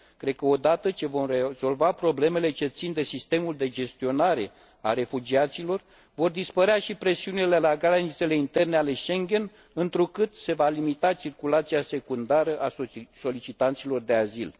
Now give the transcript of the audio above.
Cred că odată ce vom rezolva problemele ce țin de sistemul de gestionare a refugiaților vor dispărea și presiunile la granițele interne ale Schengen, întrucât se va limita circulația secundară a solicitanților de azil.